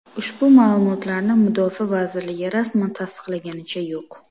Ushbu ma’lumotlarni mudofaa vazirligi rasman tasdiqlaganicha yo‘q.